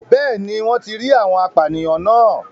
Bẹ́ẹ̀ni wọ́n ti rí àwọn apànìyàn náà